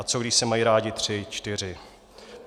A co když se mají rádi tři, čtyři?